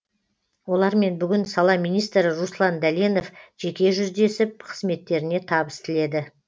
олармен бүгін сала министрі руслан дәленов жеке жүздесіп қызметтеріне табыс тіледі